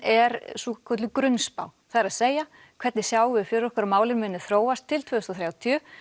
er grunnspá það er að segja hvernig sjáum við fyrir okkur að málin muni þróast til tvö þúsund og þrjátíu